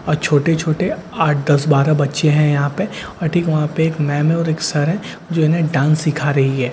और छोटे-छोटे आठ दस बारह बच्‍चे है यहां पे और ठीक वहां पे एक मेम है और एक सर है जो इन्‍हें डांस सिखा रही है ।